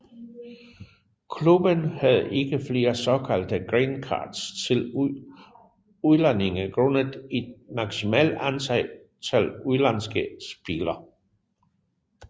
Klubben havde ikke flere såkaldte green cards til udlændinge grundet et maksmimalt antal udlandske spillere